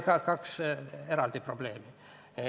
Need kaks eraldi probleemi.